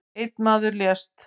Einn maður lést